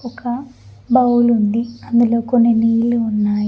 కడ ఒక బౌల్ ఉంది అందులో కొన్ని నీళ్ళు ఉన్నాయి.